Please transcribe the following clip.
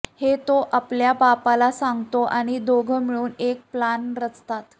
हे तो आपल्या बापाला सांगतो आणि दोघं मिळून एक प्लान रचतात